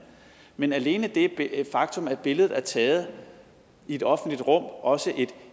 men alene det faktum at billedet er taget i et offentligt rum også et